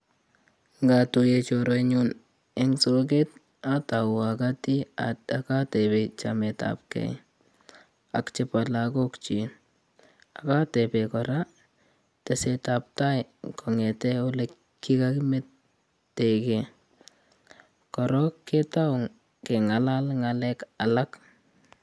Ngatuye chorwenyun eng soket atau akoti akatepe chamet ab kei ak chebo lakokchi akatebe kora teset ab tai kong'ete olekikakimetekei koror ketou keng'alal ng'alek alak